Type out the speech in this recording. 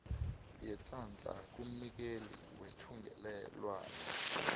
yeenhlahla kumnikeli wethungelelwano